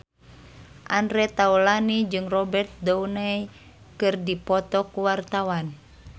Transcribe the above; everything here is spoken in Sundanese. Andre Taulany jeung Robert Downey keur dipoto ku wartawan